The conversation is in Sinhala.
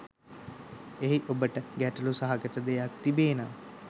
එහි ඔබට ගැටළු සහගත දෙයක් තිබේ නම්